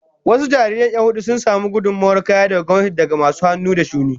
Wasu jarirai 'yan hudu sun samu gudummawar kaya daga gwamnati da masu hannu da shuni